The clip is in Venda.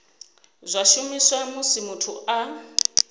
zwa shumiswa musi muthu a